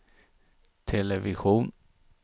television